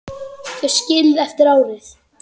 Þau skilin eftir árið.